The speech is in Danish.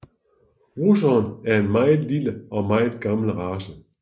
Russeren er en meget lille og meget gammel race